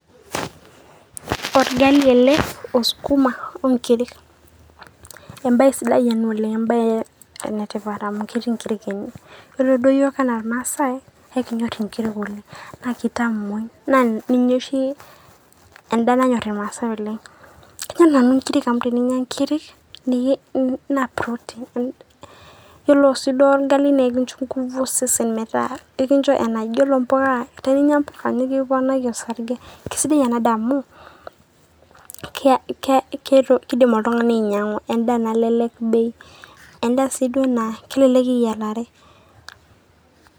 olgali ele osukuma onkirik, embae sidai ena oleng, enetipat amu letii inkiri ene ,pre duo yiok ena ilmasae naa ekinyor inkiri oleng .na kitamui na ninche oshi ndaa enyor ilmasae oleng ,kayieu nanu inkiri amu teninyia inkiri na protein ore si olgali na ekicho ngufu osesen ore mpuka nikiponiki osarge keisidai ena daa amu kelelek bei na endaa si do naa kelelek eyiarare.